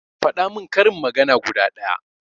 Faɗa min karin magana guda ɗaya